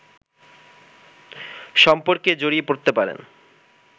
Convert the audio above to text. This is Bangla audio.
সম্পর্কে জড়িয়ে পড়তে পারেন